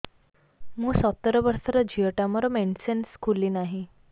ମୁ ସତର ବର୍ଷର ଝିଅ ଟା ମୋର ମେନ୍ସେସ ଖୁଲି ନାହିଁ